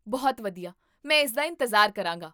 ਬਹੁਤ ਵਧੀਆ, ਮੈਂ ਇਸਦਾ ਇੰਤਜ਼ਾਰ ਕਰਾਂਗਾ